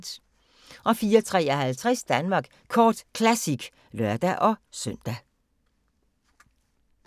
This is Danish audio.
04:53: Danmark Kort Classic (lør-søn)